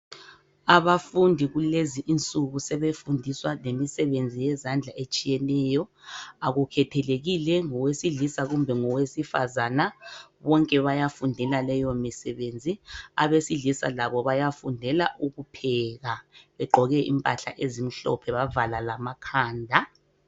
Abafundi kulezi insuku sebefundiswa lemisebenzi yezandla etshiyeneyo, akukhethelekile ngowesilisa kumbe ngowesifazana bonke bayafundela leyo misebenzi. Abesilisa labo bayafundela ukupheka, begqoke impahla ezimhlophe bavala lamakhanda.